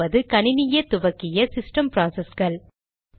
இரண்டாவது கணினியே துவக்கிய சிஸ்டம் ப்ராசஸ்கள்